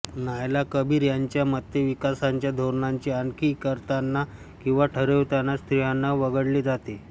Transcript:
नायला कबीर यांच्या मते विकासाच्या धोरणांची आखणी करताना किंवा ठरविताना स्त्रियांना वगळले जाते